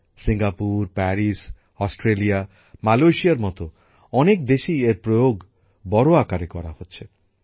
Singapore Paris Australia মালয়েশিয়ার মত অনেক দেশেই এর প্রয়োগ বড় আকারে করা হচ্ছে